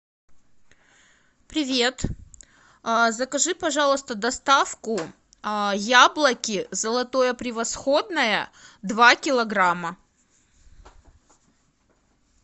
привет закажи пожалуйста доставку яблоки золотое превосходное два килограмма